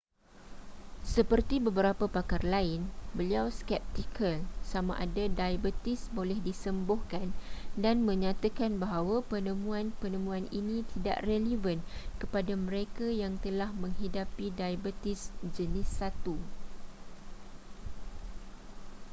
seperti beberapa pakar lain beliau skeptikal sama ada diabetes boleh disembuhkan dan menyatakan bahawa penemuan-penemuan ini tidak relevan kepada mereka yang telah menghidapi diabetes jenis 1